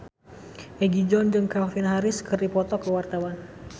Egi John jeung Calvin Harris keur dipoto ku wartawan